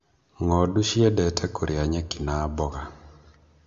Ng'ondu ciendete kũrĩa nyeki na mboga